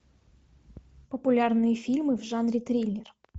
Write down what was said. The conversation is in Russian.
популярные фильмы в жанре триллер